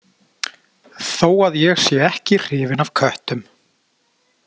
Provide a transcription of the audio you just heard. Þó að ég sé ekki hrifinn af köttum.